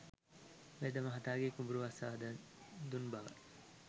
වෙදමහතාගේ කුඹුර අස්වද්දා දුන් බව